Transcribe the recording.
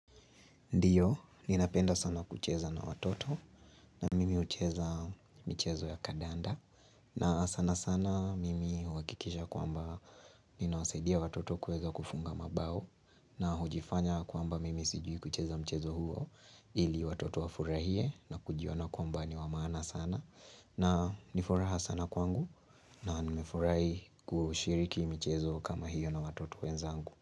Ndiyo, ninapenda sana kucheza na watoto na mimi hucheza mchezo ya kadanda na sana sana mimi uhakikisha kwamba ninawasaidia watoto kuweza kufunga mabao na hujifanya kwamba mimi sijui kucheza mchezo huo ili watoto wafurahie na kujiona kwamba ni wamaana sana na nifuraha sana kwangu na nimefurahi kushiriki mchezo kama hiyo na watoto wenzangu.